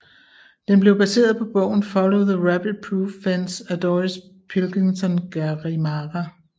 Den blev baseret på bogen Follow The Rabbit Proof Fence af Doris Pilkington Garimara